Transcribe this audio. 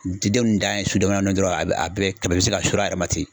Didenw dan ye su dɔ la dɔrɔn a bɛ a bɛɛ tɛmɛ a bɛ sin ka sur'a yɛrɛ ma ten